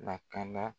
Lakana